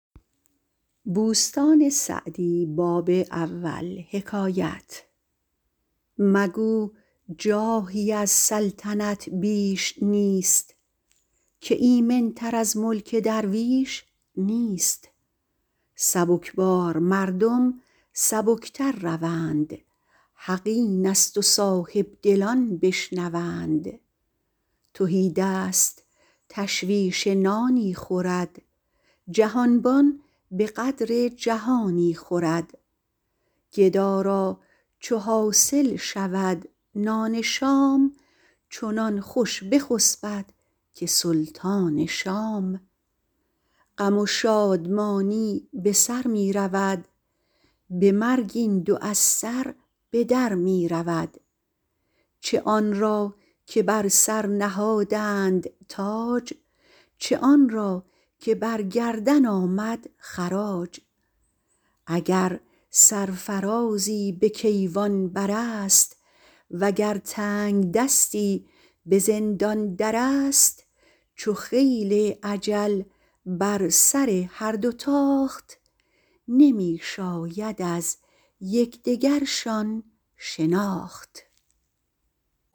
مگو جاهی از سلطنت بیش نیست که ایمن تر از ملک درویش نیست سبکبار مردم سبک تر روند حق این است و صاحبدلان بشنوند تهیدست تشویش نانی خورد جهانبان به قدر جهانی خورد گدا را چو حاصل شود نان شام چنان خوش بخسبد که سلطان شام غم و شادمانی به سر می رود به مرگ این دو از سر به در می رود چه آن را که بر سر نهادند تاج چه آن را که بر گردن آمد خراج اگر سرفرازی به کیوان بر است وگر تنگدستی به زندان در است چو خیل اجل بر سر هر دو تاخت نمی شاید از یکدگرشان شناخت